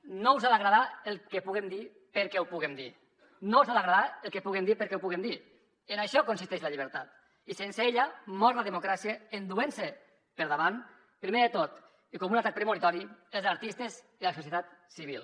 no us ha d’agradar el que puguem dir perquè ho puguem dir no us ha d’agradar el que puguem dir perquè ho puguem dir en això consisteix la llibertat i sense ella mor la democràcia enduent se per davant primer de tot i com un atac premonitori els artistes i la societat civil